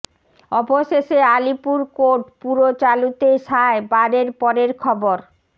অবশেষে আলিপুর কোর্ট পুরো চালুতে সায় বারের পরের খবর